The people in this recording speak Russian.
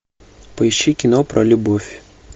поищи кино про любовь